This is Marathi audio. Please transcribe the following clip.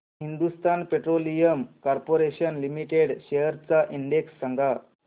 Hindustan petroleum corporation limited shares चा इंडेक्स सांगा